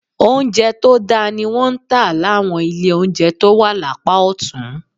Oúnjẹ tó dáa ni wọ́n ń tà láwọn ilé oúnjẹ tó wà lápá ọ̀tún